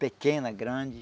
Pequena, grande.